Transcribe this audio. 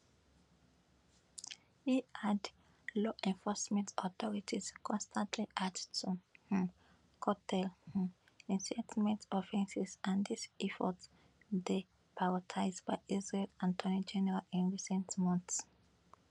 e add law enforcement authorities constantly act to um curtail um incitement offences and dis effort dey prioritised by israel attorney general in recent months